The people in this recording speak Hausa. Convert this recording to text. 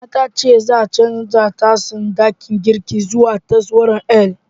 Nana ta ce za'a canja tsarin ɗakin girkin zuwa taswirar L.